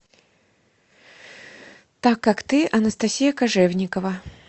так как ты анастасия кожевникова